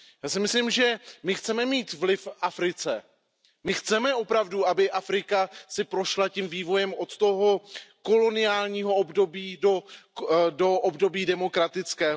Já si myslím, že my chceme mít vliv v Africe. My chceme opravdu, aby Afrika si prošla tím vývojem od toho koloniálního období do období demokratického.